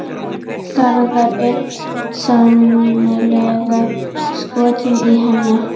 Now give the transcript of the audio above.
Garðar er sennilega skotinn í henni.